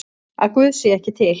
Að Guð sé ekki til?